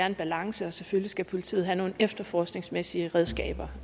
en balance og selvfølgelig skal politiet have nogle efterforskningsmæssige redskaber